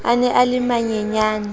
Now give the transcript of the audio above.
a ne a le manyenyane